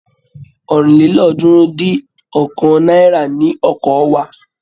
ọ̀rìnlélọ́ọ̀ọ́dúnrún-dín-ọ̀kan náírà ni ọkọ̀ wa.